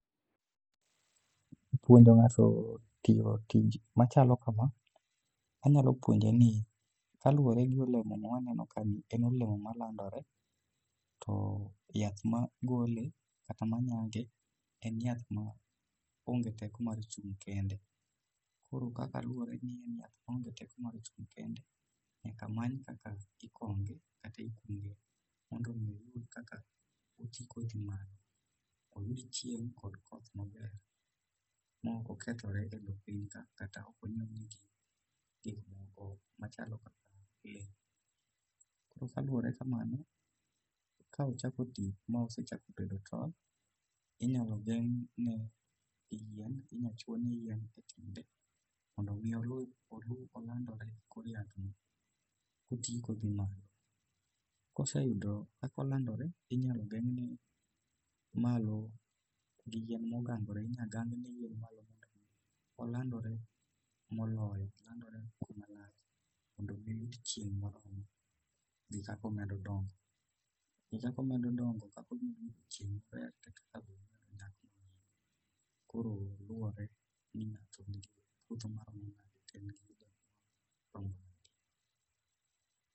puonjo ng'ato tiyo tich machalo kamaa, anyalo puonje ni kaluwore gi olemo ma aneno kaeni, en olemo manyagore to yath magole kata manyage onge teko mar chung kende koro kaka luwore ni en yath maonge teko mar chung kende nyaka many kakichunge kendo ikonge mondo mii oyud kaka otii ka odhii malo mondo oyud koth maber mondo kiki okethre e piny ka, kaluwore kama, inyalo gerne yien kata inyalo chuonne yien etiende mondo olandre ka odhi malo koseyudo kaka olandore inyalo gengne malo gi yien mogangore, inyalo gengne malo gi yien mondo omed gangore mondo mii oyud chieng maber gi kaka omedo dongo koro luwore ni ng'ato nikgi puodho maromo nade.